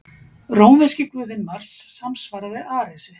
Rómverski guðinn Mars samsvaraði Aresi.